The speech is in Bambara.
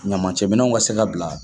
Ɲaman cɛ minɛw ka se ka bila.